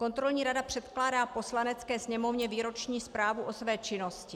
Kontrolní rada předkládá Poslanecké sněmovně výroční zprávu o své činnosti.